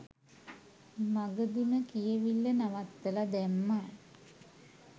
මගදිම කියවිල්ල නවත්තල දැම්මා